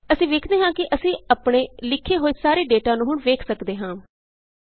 ਅਸੀਂ ਵੇਖਦੇ ਹਾਂ ਕਿ ਅਸੀਂ ਆਪਣੇ ਲਿਖੇ ਹੋਏ ਸਾਰੇ ਡੇਟਾ ਨੂੰ ਹੁਣ ਵੇਖ ਸਕਦੇ ਹਾਂ